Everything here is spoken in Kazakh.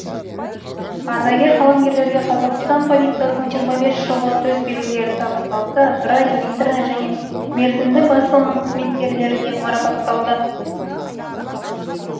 ардагер қаламгерлерге қазақстан полициясының жиырма бес жылдығы төсбелгілері табысталса радио интернет және мерзімді басылымның қызметкерлері де марапатталды